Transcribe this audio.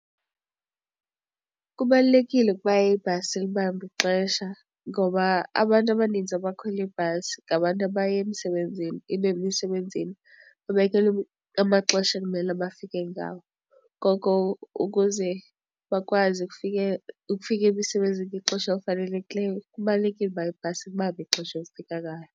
Kubalulekile ukuba ibhasi ilibambe ixesha ngoba abantu abaninzi abakhwela ibhasi ngabantu abaye emsebenzini ibe emisebenzini babekelwe amaxesha ekumele bafike ngawo. Ngoko ukuze bakwazi ukufika emisebenzini ngexesha elifanelekileyo kubalulekile ukuba ibhasi ilibambe ixesha elifika ngalo.